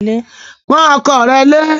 Pọ́n ọkọ rẹ lé!